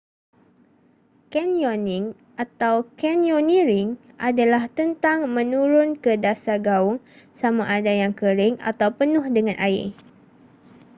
canyoning” atau: canyoneering adalah tentang menurun ke dasar gaung sama ada yang kering atau penuh dengan air